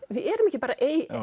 við erum ekki bara